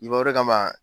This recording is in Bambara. I b'o de kama